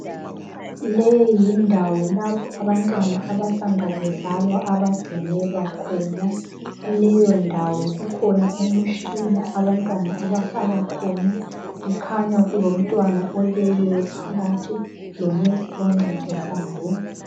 Le yindawo lapho abantwana abasanda kuzalwa abagcinelwa khona kuleyo ndawo kukhona imitshina lapho abantwana abafakwa khona kukhanya kulomntwana oleleyo phakathi lo nesi oncedisayo.